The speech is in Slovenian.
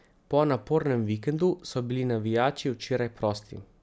Po napornem vikendu so bili navijači včeraj prosti.